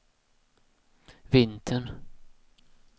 vintern